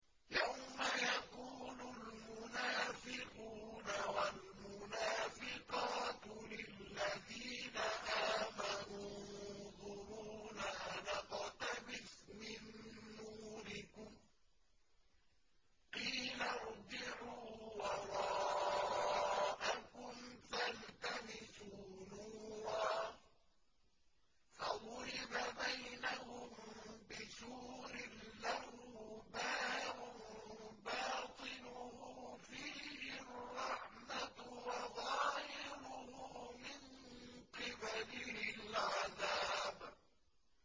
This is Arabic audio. يَوْمَ يَقُولُ الْمُنَافِقُونَ وَالْمُنَافِقَاتُ لِلَّذِينَ آمَنُوا انظُرُونَا نَقْتَبِسْ مِن نُّورِكُمْ قِيلَ ارْجِعُوا وَرَاءَكُمْ فَالْتَمِسُوا نُورًا فَضُرِبَ بَيْنَهُم بِسُورٍ لَّهُ بَابٌ بَاطِنُهُ فِيهِ الرَّحْمَةُ وَظَاهِرُهُ مِن قِبَلِهِ الْعَذَابُ